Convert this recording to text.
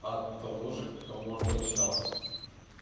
от того же к кому обращался